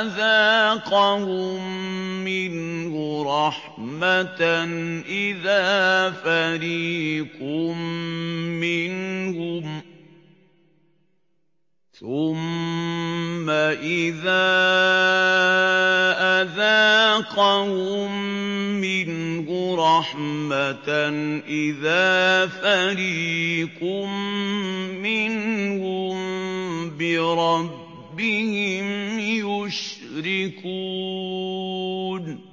أَذَاقَهُم مِّنْهُ رَحْمَةً إِذَا فَرِيقٌ مِّنْهُم بِرَبِّهِمْ يُشْرِكُونَ